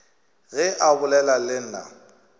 ge a bolela le nna